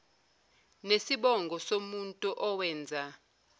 nesibongo somuntu owenza